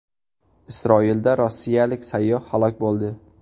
Isroilda rossiyalik sayyoh halok bo‘ldi.